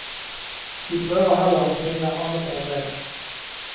De prøver heller å finne annet arbeide.